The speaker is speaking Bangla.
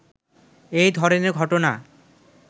এই ধরনের ঘটনা